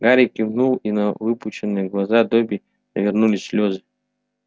гарри кивнул и на выпученных глаза добби навернулись слезы